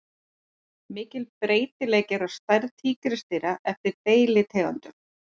Mikill breytileiki er á stærð tígrisdýra eftir deilitegundum.